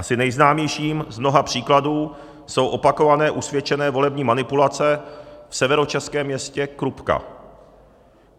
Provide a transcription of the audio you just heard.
Asi nejznámějším z mnoha příkladů jsou opakované usvědčené volební manipulace v severočeském městě Krupka.